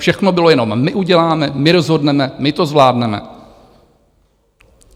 Všechno bylo jenom - my uděláme, my rozhodneme, my to zvládneme.